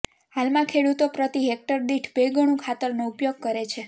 હાલમાં ખેડુતો પ્રતિ હેકટર દીઠ બે ગણું ખાતરનો ઉપયોગ કરે છે